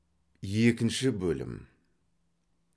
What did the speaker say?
екінші бөлім